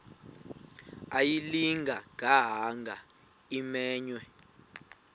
ayilinga gaahanga imenywe